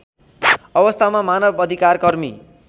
अवस्थामा मानव अधिकारकर्मी